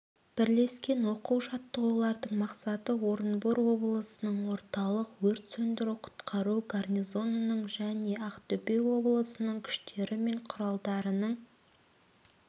бірлескен оқу жаттығулардың мақсаты орынбор облысының орталық өрт сөндіру-құтқару гарнизонының және ақтөбе облысының күштері мен құралдарының